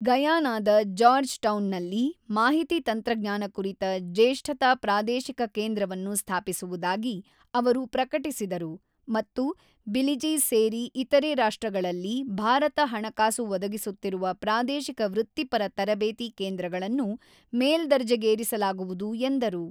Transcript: ಗಯಾನಾದ Georgetown ನಲ್ಲಿ ಮಾಹಿತಿ ತಂತ್ರಜ್ಞಾನ ಕುರಿತ ಜೇಷ್ಠತಾ ಪ್ರಾದೇಶಿಕ ಕೇಂದ್ರವನ್ನು ಸ್ಥಾಪಿಸುವುದಾಗಿ ಅವರು ಪ್ರಕಟಿಸಿದರು ಮತ್ತು ಬಿಲಿಜಿ ಸೇರಿ ಇತರೆ ರಾಷ್ಟ್ರಗಳಲ್ಲಿ ಭಾರತ ಹಣಕಾಸು ಒದಗಿಸುತ್ತಿರುವ ಪ್ರಾದೇಶಿಕ ವೃತ್ತಿಪರ ತರಬೇತಿ ಕೇಂದ್ರಗಳನ್ನು ಮೇಲ್ದರ್ಜೆಗೇರಿಸಲಾಗುವುದು ಎಂದರು.